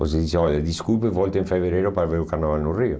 Você diz, olha, desculpe, volte em fevereiro para ver o carnaval no Rio.